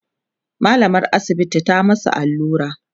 mallamar asibiti ta musu allura